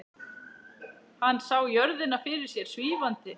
Hann sá jörðina fyrir sér svífandi.